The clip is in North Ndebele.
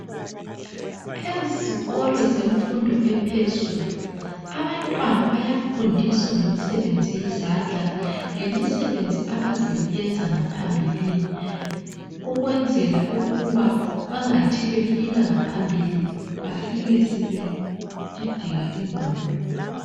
Ezikolo zemfundo ephezulu abantwana bayafundiswa ngemisebenzi yezandla lemisebenzi abazayenza ngaphambilini ukwenzela ukuba bamgathi befika ngaphambili bafike sebedideka ingqondo.